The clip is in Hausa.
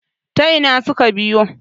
ta Ina suka biyo!